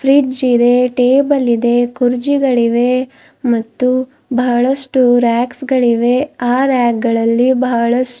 fridge ಇದೆ table ಇದೆ ಕುರ್ಜಿಗಳಿವೆ ಮತ್ತು ಬಹಳಷ್ಟು ರಾಕ್ಸ್ ಗಳಿವೆ ಆ ರಾಕ್ ಗಳಲ್ಲಿ ಬಹಳ್ಷ್ --